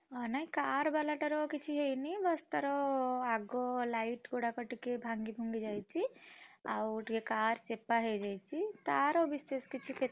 ଅ ନାଇଁ car ବାଲାଟାର କିଛି ହେଇନି? ବାସ ତାର ଆଗ light ଗୁଡାକ ଟିକେ ଭାଙ୍ଗି ଭୁଙ୍ଗି ଯାଇଛି, ଆଉ ଟିକେ car ଚେପା ହେଇଯାଇଛି ତାର ବିଶେଷ କିଛି କ୍ଷତି।